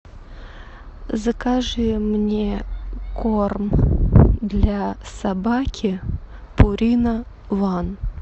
закажи мне корм для собаки пурина ван